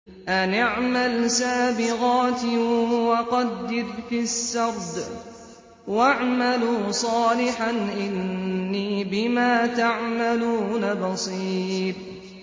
أَنِ اعْمَلْ سَابِغَاتٍ وَقَدِّرْ فِي السَّرْدِ ۖ وَاعْمَلُوا صَالِحًا ۖ إِنِّي بِمَا تَعْمَلُونَ بَصِيرٌ